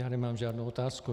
Já nemám žádnou otázku.